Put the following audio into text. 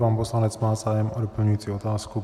Pan poslanec má zájem o doplňující otázku.